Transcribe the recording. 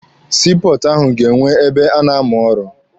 Sii pọọtụ ahụ ga-enwe ebe a na+amụ ọrụ.